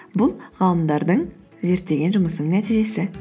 бұл ғалымдардың зерттеген жұмысының нәтижесі